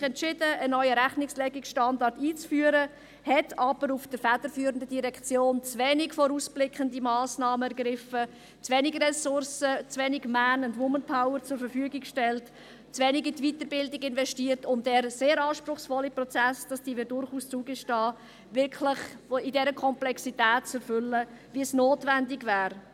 Man hat sich entschieden, einen neuen Rechnungslegungsstandard einzuführen, hat aber in der federführenden Direktion zu wenige vorausblickende Massnahmen ergriffen, zu wenige Ressourcen, zu wenig Man- und Woman-Power zur Verfügung gestellt, zu wenig in die Weiterbildung investiert, um den sehr anspruchsvollen Prozess – das gestehen wir durchaus zu – wirklich in dieser Komplexität zu erfüllen, wie es notwendig wäre.